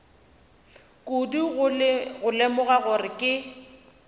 kudu go lemoga gore ke